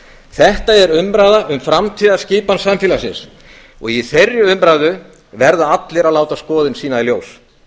þetta er umræða um framtíðarskipan samfélagsins og í þeirri umræðu verða allir að láta sitt álit í ljós